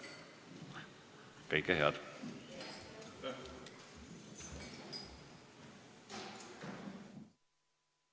Kõike head!